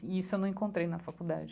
E isso eu não encontrei na faculdade.